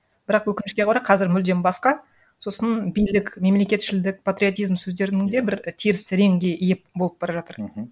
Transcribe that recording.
бірақ өкінішке орай қазір мүлдем басқа сосын билік мемлекетшілдік патриотизм сөздерінің де бір і теріс реңге ие болып бара жатыр мхм